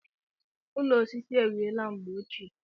Ụlọ osisi e wiela mgbe ochie.